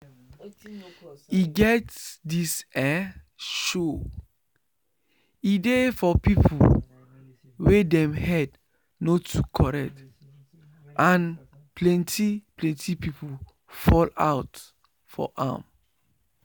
e get this ehh show. e dey for people wey dem head no too correct and plenty plenty people fall out for am